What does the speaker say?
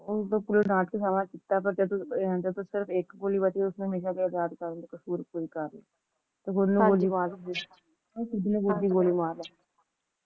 ਸਿਰਫ ਇੱਕ ਗੋਲੀ ਬੱਚੀ ਤੇ ਉਸਨੇ ਹਮੇਸ਼ਾ ਲਯੀ ਆਜ਼ਾਦ ਕਰਨ ਦੀ ਕਸਰ ਪੂਰੀ ਕਰ ਲਯੀ ਤੇ ਉਸਨੇ ਖੁਦ ਨੂੰ ਗੋਲੀ ਮਾਰ ਲਯੀ